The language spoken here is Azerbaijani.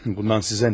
Bundan sizə nə?